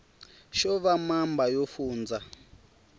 xo va mamba yo fundza